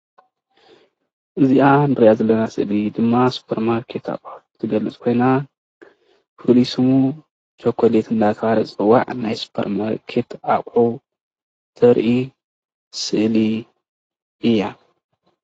እዛ እንሪአ ዘለና ስእሊ ድማ ሱፐር ማርኬት አቁሑት እትገልፅ ኮይና ፍሉይ ስሙ ቸኮሌት እናተባህለት እትፅዋዕ ናይ ሱፐር ማርኬት አቁሑት ተርኢ ስእሊ እያ ፡፡